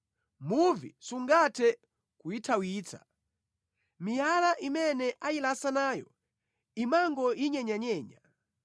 Muvi sungathe kuyithawitsa, miyala imene ayilasa nayo imangoyinyenyanyenya.